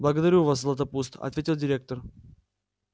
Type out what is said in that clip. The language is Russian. благодарю вас златопуст ответил директор